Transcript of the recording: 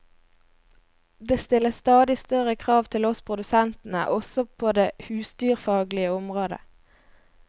Det stilles stadig større krav til oss produsentene, også på det husdyrfaglige området.